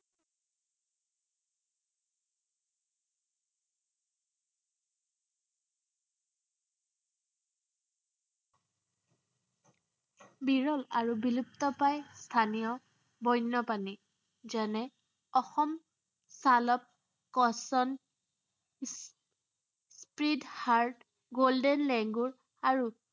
বিৰল আৰু বিলুপ্ত প্ৰায় স্থানীয় বৈন্য প্ৰাণী, যেনে অসম চালক কশ্য়প, চুইট হাৰ্ট, গোল্ডেন লেঙ্গুৰ আৰু